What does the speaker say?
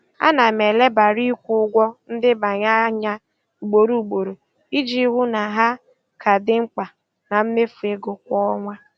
Ana m elebara ikwu ụgwọ ndebanye anya ugboro ugboro iji hụ na ha ka dị mkpa na mmefu ego kwa ọnwa.